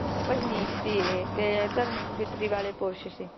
ਭਜਨੀਕ ਸੀ ਇਹ ਤੇ ਧਰਮਿਕ ਬਿਰਤੀ ਵਾਲੇ ਪੁਰਸ਼ ਸੀ